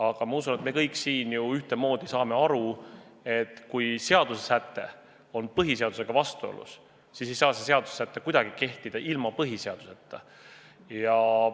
Aga küllap me kõik siin saame ühtemoodi saame aru, et kui seaduse säte on põhiseadusega vastuolus, siis ei saa see seaduse säte kuidagi kehtida ilma põhiseadust muutmata.